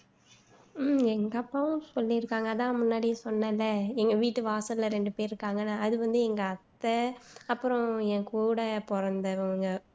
உம் எங்க அப்பாவும் சொல்லியிருக்காங்க அதான் முன்னாடியே சொன்னேன்ல எங்க வீட்டு வாசல்ல ரெண்டு பேரு இருக்காங்கன்னு அது வந்து எங்க அத்தை அப்பறம் என் கூட பொறந்தவங்க